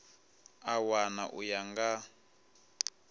a wana u ya nga